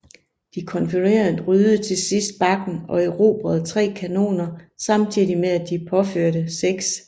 De konfødererede ryddede til sidst bakken og erobrede 3 kanoner samtidig med at de påførte 6